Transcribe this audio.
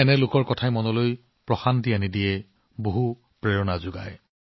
এনে লোকসকলৰ কথাবোৰে অতিশয় সান্ত্বনা গভীৰ অনুপ্ৰেৰণা প্ৰদান কৰে